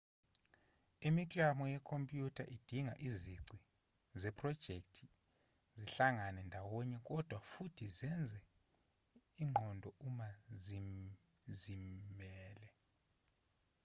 imiklamo yekhompyutha idinga izici zephrojekthi zihlangane ndawonye kodwa futhi zenze ingqondo uma zizimele